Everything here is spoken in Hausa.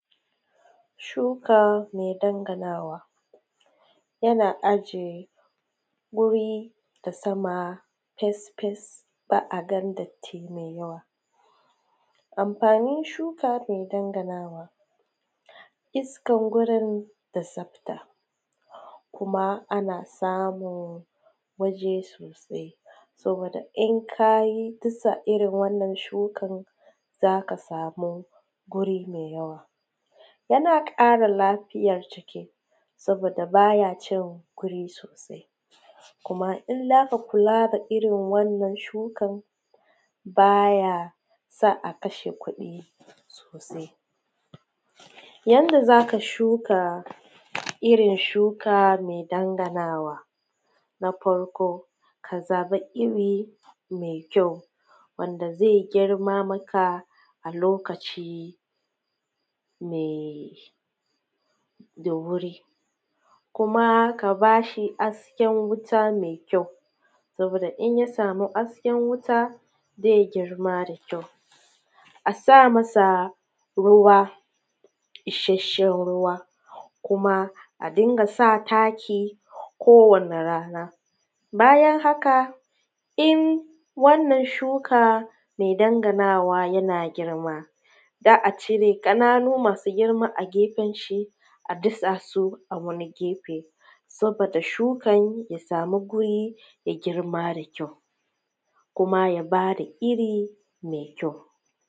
Shuka mai danganawa yana a jiye wuri da sama fesfes ba a ganin datti mai yawa, amfanin shuka mai danganawa iskan wurin da tsafta kuma ana samun waje sosai sabida in ka yi irin wannan shukan zaka sami guri mai yawa yana ƙara lafiyan jiki saboda baya cin guri sosai kuma in zaka rinka kula da irin wannan shukan baya sa a kasha kuɗi sosai yanda zaka shuka irin shuka mai danganawa na farko, ka zaɓi irin mai kyau wanda zai girma maka a lokaci mai da wuri kuma ka bashi hasken wuta mai kyau saboda inya sami hasken wuta zai girma da kyau a samasa ruwa isasshe ruwa kuma a dinga sa taki ko wani rana bayan haka in wannan shuka mai danganawa yana girma za`a cire ƙananun masu girma a gefen shi a dasa su a wani gefe saboda shukan ya sami guri ya girma da kyau kuma ya bada iri mai kyau